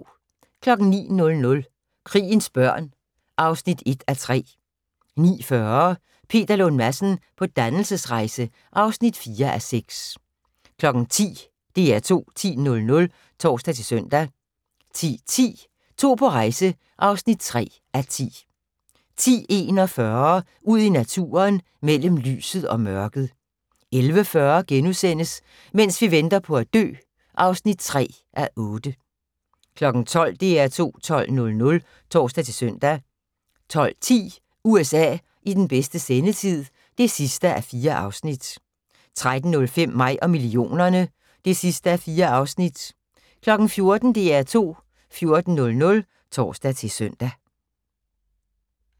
09:00: Krigens børn (1:3) 09:40: Peter Lund Madsen på dannelsesrejse (4:6) 10:00: DR2 10.00 (tor-søn) 10:10: To på rejse (3:10) 10:41: Ud i naturen: Mellem lyset og mørket 11:40: Mens vi venter på at dø (3:8)* 12:00: DR2 12.00 (tor-søn) 12:10: USA i bedste sendetid (4:4) 13:05: Mig og millionerne (4:4) 14:00: DR2 14.00 (tor-søn)